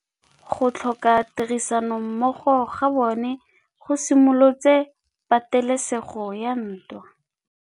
Go tlhoka tirsanommogo ga bone go simolotse patêlêsêgô ya ntwa.